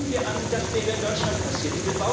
Nehmen wir an, das wäre in Deutschland passiert.